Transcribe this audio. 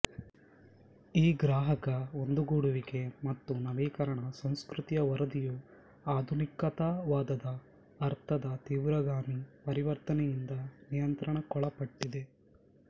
ಈ ಗ್ರಾಹಕ ಒಂದುಗೂಡುವಿಕೆ ಮತ್ತು ನವೀಕರಣ ಸಂಸ್ಕೃತಿಯ ವರದಿಯು ಆಧುನಿಕತಾವಾದದ ಅರ್ಥದ ತೀವ್ರಗಾಮಿ ಪರಿವರ್ತನೆಯಿಂದ ನಿಯಂತ್ರಣಕ್ಕೊಳಪಟ್ಟಿದೆ